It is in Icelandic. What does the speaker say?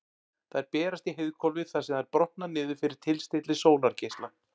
Þær berast í heiðhvolfið þar sem þær brotna niður fyrir tilstilli sólargeisla.